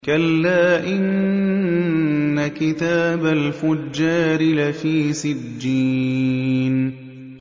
كَلَّا إِنَّ كِتَابَ الْفُجَّارِ لَفِي سِجِّينٍ